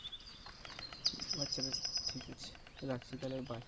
আচ্ছা বেশ ঠিক আছে রাখছি তাহলে bye